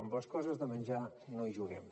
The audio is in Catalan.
amb les coses de menjar no hi juguem